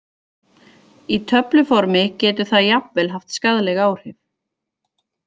Í töfluformi getur það jafnvel haft skaðleg áhrif.